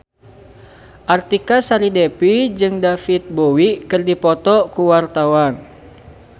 Artika Sari Devi jeung David Bowie keur dipoto ku wartawan